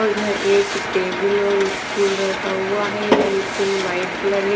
और यहां एक टेबल और स्टूल रखा हुआ हैं। यह स्टूल व्हाईट कलर हैं।